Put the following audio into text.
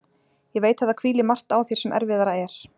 Ég veit að það hvílir margt á þér sem erfiðara er.